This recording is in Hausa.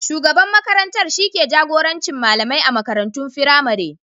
Shugaban makarantar shi ke jagorancin malamai a makarantun firamare.